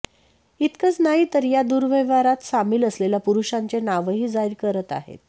इतकंच नाही तर या दुर्व्यवहारात सामील असलेल्या पुरुषांचे नावही जाहीर करत आहेत